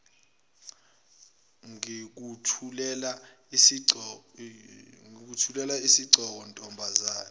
ngikuthulela isigqoko ntombazane